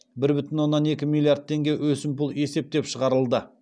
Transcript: бір бүтін оннан екі миллиард теңге өсімпұл есептеп шығарылды